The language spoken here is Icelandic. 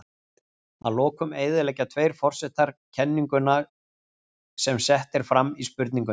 Að lokum eyðileggja tveir forsetar kenninguna sem sett er fram í spurningunni.